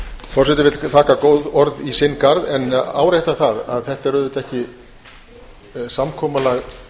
forseti þakkar góð orð í sinni garð en áréttar það að þetta er auðvitað ekki samkomulag